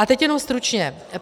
A teď jenom stručně.